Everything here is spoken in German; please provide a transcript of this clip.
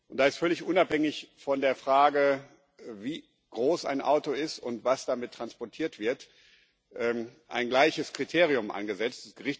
Da ist völlig unabhängig von der Frage, wie groß ein Auto ist und was damit transportiert wird, ein gleiches Kriterium angesetzt